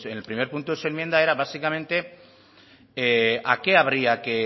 en el primer punto de su enmienda era básicamente a